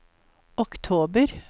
oktober